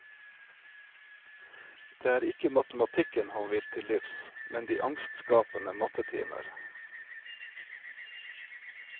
Det er ikke matematikken han vil til livs, men de angstskapende mattetimer.